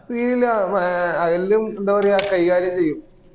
പിന്നേ ഏ എല്ലൊം എന്താ പറയാ കൈകാര്യം ചെയ്യും